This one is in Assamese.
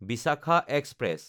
ভিচাখা এক্সপ্ৰেছ